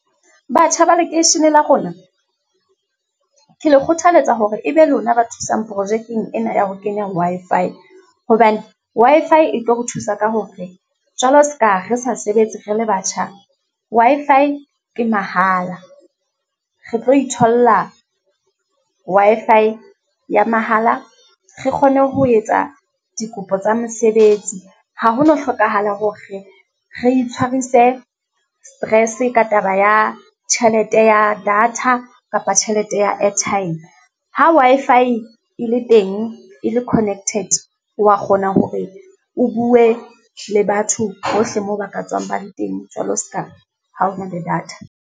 Batjha ba lekeishene la rona, ke le kgothaletsa hore e be lona ba thusang projekeng ena ya ho kenya Wi-Fi, hobane Wi-Fi e tlo re thusa ka hore jwalo seka re sa sebetse re le batjha, Wi-Fi ke mahala. Re tlo itholla Wi-Fi ya mahala, re kgone ho etsa dikopo tsa mesebetsi. Ha ho no hlokahala hore re itshwarise stress ka taba ya tjhelete ya data, kapa tjhelete ya airtime. Ha Wi-Fi e le teng, e le connected, o wa kgona hore o bue le batho hohle moo ba ka tswang ba le teng, jwalo seka ha o na le data.